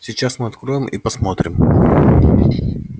сейчас мы откроем и посмотрим